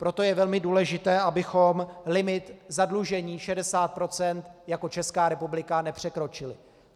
Proto je velmi důležité, abychom limit zadlužení 60 % jako Česká republika nepřekročili.